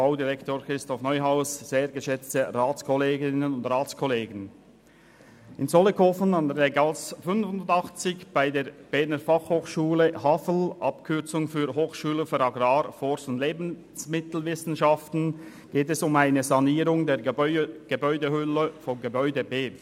der BaK. In Zollikofen, Länggasse 85 bei der Berner Fachhochschule (BFH), Hochschule für Agrar-, Forst- und Lebensmittelwissenschaften (HAFL), geht es um eine Sanierung der Gebäudehülle von Gebäude B.